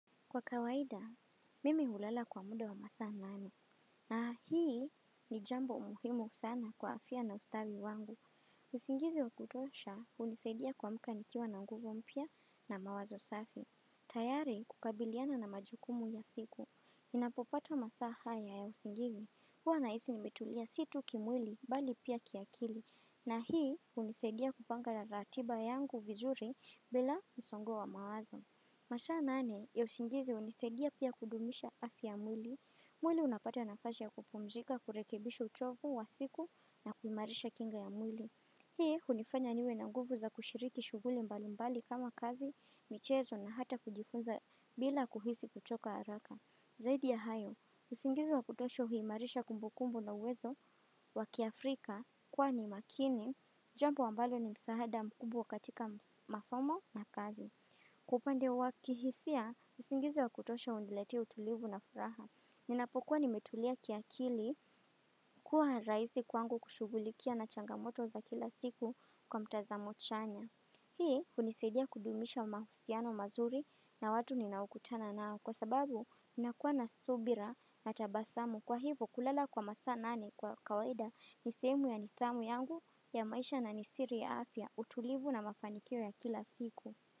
Kwa kawaida, mimi hulala kwa muda wa masaa nane. Na hii ni jambo muhimu sana kwa afya na ustawi wangu. Usingizi wa kutosha, hunisaidia kuamka nikiwa na nguvu mpya na mawazo safi. Tayari kukabiliana na majukumu ya siku. Ninapopata masaa haya ya usingizi. Huwa nahisi nimetulia si tu kimwili bali pia kiakili. Na hii hunisaidia kupanga ratiba yangu vizuri bila msongo wa mawazo. Masaa nane ya usingizi unisaidia pia kudumisha afya ya mwili mwili unapata nafasi ya kupumzika kurekebisha uchovu wa siku na kuimarisha kinga ya mwili Hii hunifanya niwe na nguvu za kushiriki shughuli mbali mbali kama kazi, michezo na hata kujifunza bila kuhisi kuchoka haraka Zaidi ya hayo, usingizi wa kutosha huimarisha kumbukumbu na uwezo wa kiafrika kwani makini Jambo ambalo ni msaada mkubwa katika masomo na kazi Kwa upande wa kihisia, usingizi wa kutosha uniletea utulivu na furaha. Ninapokuwa nimetulia kiakili kuwa rahisi kwangu kushughulikia na changamoto za kila siku kwa mtazamo chanya. Hii hunisaidia kudumisha mahusiano mazuri na watu ninaokutana nao kwa sababu ninakuwa na subira na tabasamu. Kwa hivo kulala kwa masaa nane kwa kawaida nisehemu ya nidhamu yangu ya maisha na ni siri ya afya utulivu na mafanikio ya kila siku.